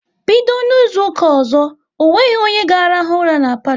Bido N'izuka ọzọ, onweghi onye ga rahụ ura n'palo